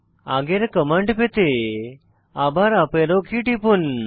আগের কমান্ড পেতে আবার আপ অ্যারো কী টিপুন